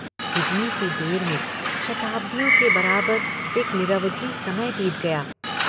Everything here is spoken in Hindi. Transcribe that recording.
इतनी सी देर में शताब्दियों के बराबर एक निरवधि समय बीत गया।